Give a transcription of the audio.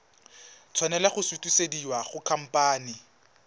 tshwanela go sutisediwa go khamphane